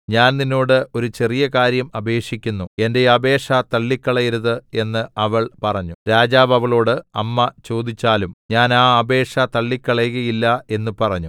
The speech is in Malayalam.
ഞാൻ നിന്നോട് ഒരു ചെറിയ കാര്യം അപേക്ഷിക്കുന്നു എന്റെ അപേക്ഷ തള്ളിക്കളയരുത് എന്ന് അവൾ പറഞ്ഞു രാജാവ് അവളോട് അമ്മ ചോദിച്ചാലും ഞാൻ ആ അപേക്ഷ തള്ളിക്കളകയില്ല എന്ന് പറഞ്ഞു